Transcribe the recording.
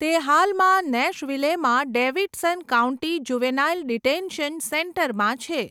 તે હાલમાં નેશવિલેમાં ડેવિડસન કાઉન્ટી જુવેનાઇલ ડિટેન્શન સેન્ટરમાં છે.